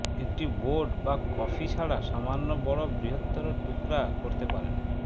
একটি বোর্ড বা কফি ছাড়া সামান্য বড় বৃহত্তর টুকরা করতে পারেন